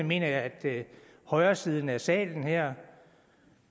mener jeg at højresiden af salen her